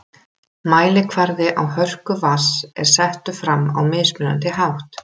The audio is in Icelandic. Mælikvarði á hörku vatns er settur fram á mismunandi hátt.